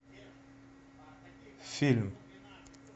фильм